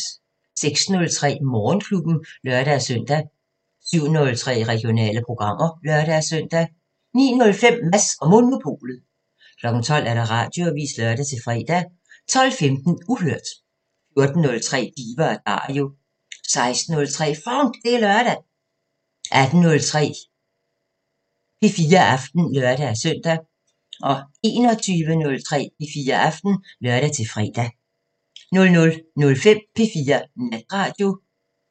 06:03: Morgenklubben (lør-søn) 07:03: Regionale programmer (lør-søn) 09:05: Mads & Monopolet 12:00: Radioavisen (lør-fre) 12:15: Uhørt 14:03: Diva & Dario 16:03: FONK! Det er lørdag 18:03: P4 Aften (lør-søn) 21:03: P4 Aften (lør-fre) 00:05: P4 Natradio (lør-fre)